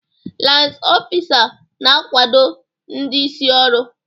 Lans ọfisa na-akwado ndị isi ọrụ.